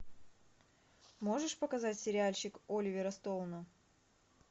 можешь показать сериальчик оливера стоуна